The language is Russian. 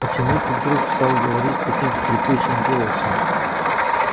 почему ты вдруг стал говорить таким скрипучим голосом